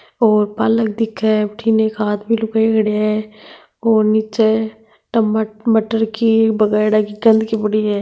और पालक दिखे है अठिन एक आदमी लुगाई खड्या है और नीचे टमट मटर की बगायेडा की गंदकी पड़ी है।